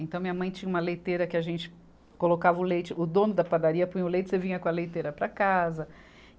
Então minha mãe tinha uma leiteira que a gente colocava o leite, o dono da padaria punha o leite, você vinha com a leiteira para casa.